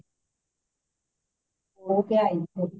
ਉਹ ਤੇ ਹੋਹਿ ਏ